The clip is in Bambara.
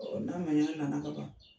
Ɔ n'a na na ka ban.